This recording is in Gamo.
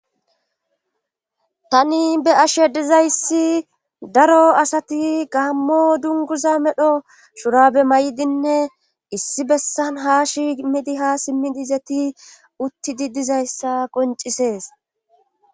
Tani be'ashe dizayssi daro asati gaammo dunguza medho shurabe may7idinne issi bessan ha shimidi ha simmi dizeti uttidi dizayssa qoncisees.